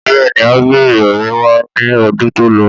Bẹ́ẹ̀mi, a bẹrẹ ọrẹ wa ni ọdún tó lọ.